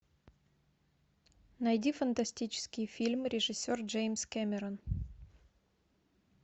найди фантастический фильм режиссер джеймс кэмерон